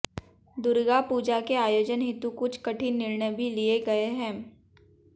दुर्गा पूजा के आयोजन हेतु कुछ कठिन निर्णय भी लिए गए हैं